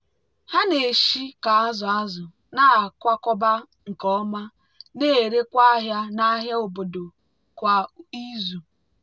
ha na-ese ka azụ̀ azụ̀ na-akwakọba nke ọma na-erekwa ahịa n'ahịa obodo kwa izu.